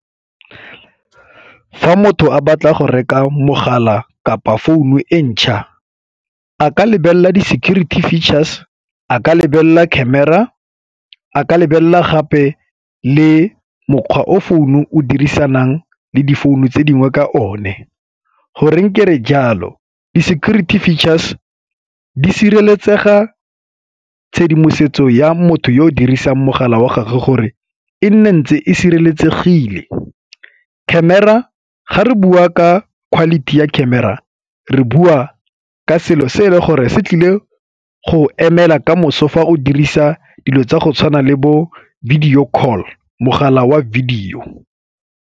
Fa motho a batla go reka mogala kapa founu e ntšha a ka lebelela di-security features, a ka lebelela camera, a ka lebelela gape le mokgwa o founu o dirisanang le difounu tse dingwe ka one. Go reng kere jalo, di-security features di sireletsega tshedimosetso ya motho yo o dirisang mogala wa gagwe gore e nne ntse e sireletsegile. Camera, ga re bua ka quality ya camera re bua ka selo se e le gore se tlile go emela ka moso fa o dirisa dilo tsa go tshwana le bo video call, mogala wa video.